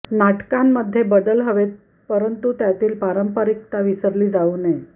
नाटकांमध्ये बदल हवेत परंतु त्यातील पारंपरिकता विसरली जाऊ नये